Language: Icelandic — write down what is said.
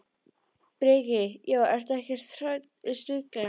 Breki: Já, ertu ekkert hrædd við snigla?